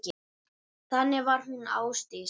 Þannig var hún Ásdís.